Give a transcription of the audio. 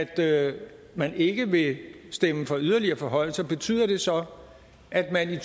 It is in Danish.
at man ikke vil stemme for yderligere forhøjelser betyder det så at man i